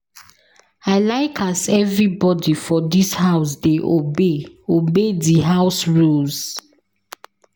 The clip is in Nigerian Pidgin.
I like as everybodi for dis house dey obey obey di house rules.